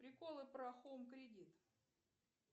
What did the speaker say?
приколы про хоум кредит